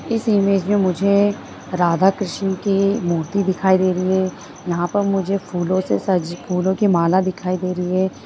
इस इमेज में मुझे राधा कृष्ण की मूर्ति दिखाई दे रही है यहाँ पर मुझे फुलो से सजी फूलों की माला दिखाई दे रही है।